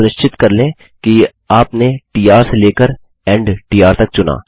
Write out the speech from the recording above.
अतः सुनिश्चित कर लें कि आपने ट र से लेकर इंड ट र तक चुना